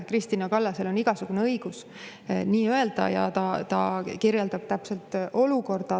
Kristina Kallasel on igasugune õigus nii öelda ja ta kirjeldab täpselt olukorda.